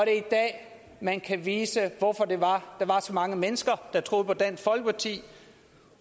er i dag man kan vise hvorfor det var der var så mange mennesker der troede på dansk folkeparti